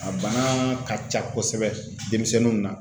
A bana ka ca kosɛbɛ denmisɛnninw na.